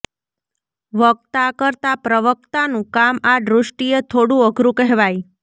વક્તા કરતાં પ્રવક્તાનું કામ આ દૃષ્ટિએ થોડું અઘરું કહેવાય